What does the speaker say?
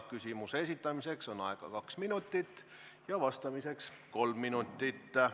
Küsimuse esitamiseks on aega kaks minutit ja vastamiseks kolm minutit.